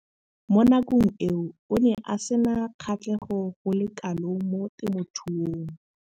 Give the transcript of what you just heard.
Mo nakong eo o ne a sena kgatlhego go le kalo mo temothuong.